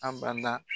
A bada